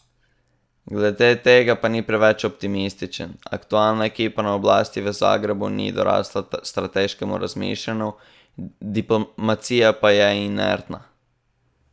Glede tega pa ni preveč optimističen: "Aktualna ekipa na oblasti v Zagrebu ni dorasla strateškemu razmišljanju, diplomacija pa je inertna.